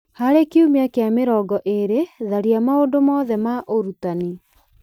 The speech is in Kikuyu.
harĩ kiumia kĩa mĩrongo ĩrĩ tharia maũndũ mothe ma ũrutani